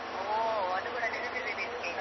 ಹೋ, ಅದು ಕೂಡ ನೆನಪಿದೆ ನಿನ್ಗೆ.